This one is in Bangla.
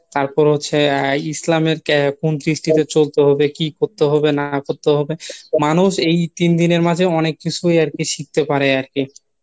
তারপর হচ্ছে আহ ইসলামের কোন দৃষ্টিতে চলতে হবে, কি করতে হবে না করতে হবে মানুষ এই তিন দিনের মাঝে অনেক কিছু আরকি শিখতে পারে আরকি